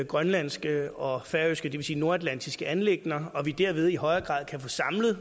grønlandske og færøske det vil sige nordatlantiske anliggender og at vi derved i højere grad kan få samlet